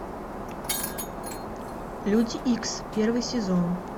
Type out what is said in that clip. люди икс первый сезон